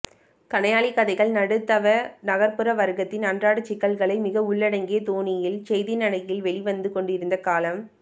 கணையாழிக்கதைகள் நடுத்தவ நகர்ப்புற வர்க்கத்தின் அன்றாடச்சிக்கல்களை மிக உள்ளடங்கிய தொனியில் செய்திநடையில் வெளிவந்துகொண்டிருந்த காலம்